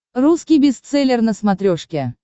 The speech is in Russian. русский бестселлер на смотрешке